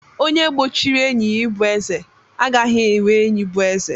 Onye gbochiri enyi ya ịbụ eze, agaghị enwe enyi bụ eze.